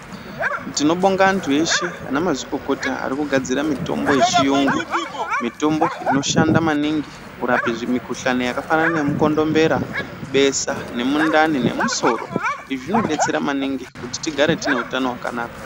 Ndinobonga antu eshe ana mazvikokota arikugadzira mitombo yechiyungu. Mitombo inoshanda maningi kurapa zvimikuhlani yakafanana nemukondombera besa nemundani nemusoro. Izvi zvinobetsera maningi kuti tigare tine hutano hwakanaka.